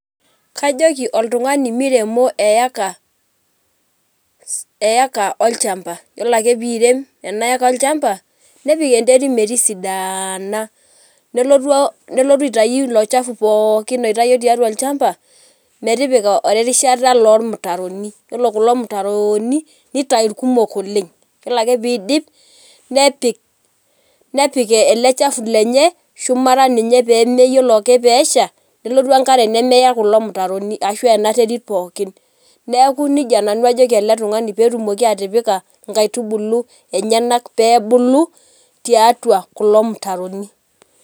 Kajoki oltungani mire no eeka eeka olchamba, yiolo ake piirem enaeka olchamba nepik enterit metisidana nelotu aitau ilochafu pookin oitawuo tiatua olchamba metipika erishata ormutaroni, yiolo kulo mutaroni nitau irkumok oleng yiolo ake piidip nepik nepik eleshafu lenye shumata enye pa ore ake peesha nelotu enkare nemeya kulo mutaroni ashu enterit pookin neaku nejia nanu ajoki eletungani petumoki atipika nkaitubulu enyenak pebulu tiatua irmutaroni.